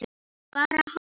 Bara hann?